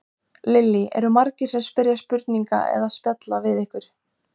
Lillý: Eru margir sem spyrja spurninga eða spjalla við ykkur?